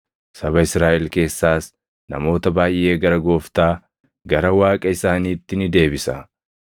Saba Israaʼel keessaas namoota baayʼee gara Gooftaa, gara Waaqa isaaniitti ni deebisa.